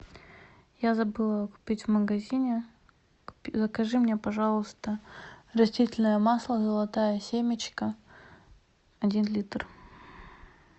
я забыла купить в магазине закажи мне пожалуйста растительное масло золотая семечка один литр